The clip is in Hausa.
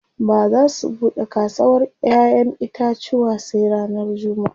Ba za su buɗe kasawar ƴaƴen itacuwa sai ranar jummaʼa.